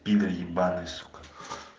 игорь ебанная сука